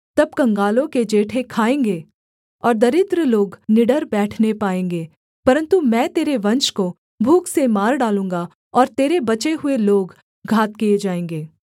तब कंगालों के जेठे खाएँगे और दरिद्र लोग निडर बैठने पाएँगे परन्तु मैं तेरे वंश को भूख से मार डालूँगा और तेरे बचे हुए लोग घात किए जाएँगे